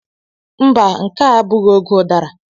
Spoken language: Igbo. Mba nke a abụghị oge udara.